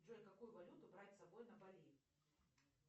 джой какую валюту брать с собой на бали